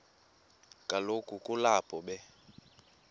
kaloku kulapho be